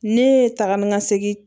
Ne ye taa ni ka segin